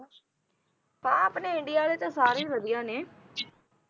ਹਾਂ ਆਪਣੇ ਇੰਡੀਆ ਵਾਲੇ ਤਾਂ ਸਾਡੇ ਵਧੀਆ ਨੇ